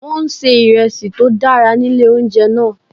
Wọ́n ń se ìresí tó dára ní ilé oúnjẹ náà.